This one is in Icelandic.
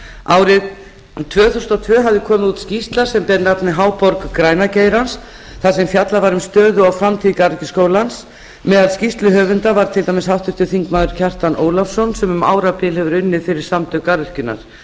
árið tvö þúsund og tvö hafði komið út skýrsla sem ber nafnið háborg græna geirans þar sem fjallað var um stöðu og framtíð garðyrkjuskólans meðal skýrsluhöfunda var til dæmis háttvirtur þingmaður kjartan ólafsson sem um árabil hefur unnið fyrir samtök garðyrkjunnar